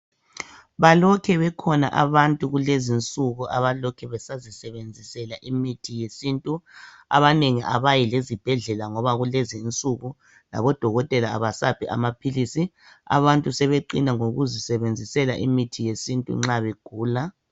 Balokhe bekhona abantu kulezi insuku abalokhe besazisebenzisela imithi yesintu abanengi abayi lezibhedlela ngoba kulezi insuku labodokotela abasaphi amaphilisi, abantu sebeqina ngokuzisebenzisela imithi yesintu nxa begula